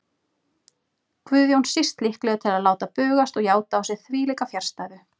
Guðjón síst líklegur til að láta bugast og játa á sig þvílíka fjarstæðu.